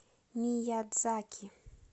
миядзаки